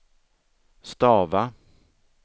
stava